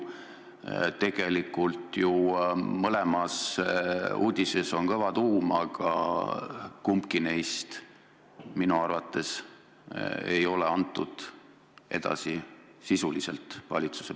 Tegelikult on ju mõlemas uudises kõva tuum, aga kumbagi neist sisuliselt ei andnud minu arvates edasi valitsus.